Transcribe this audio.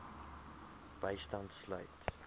bystand sluit